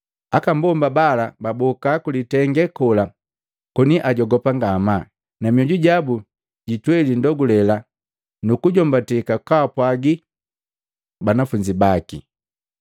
Aka mbomba bala baboka ku litenge kola koni ajogopa ngamaa na mioju jabu jitweli ndogulela nukujombatake kwaapwagi banafunzi baki.